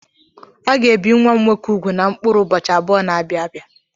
A ga-ebi nwa m nwoke ugwu na mkpụrụ ụbọchị abụọ na-abịa abịa.